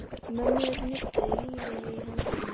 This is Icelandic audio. Mömmur nudduðu lífi í hendur og blésu í naglakul.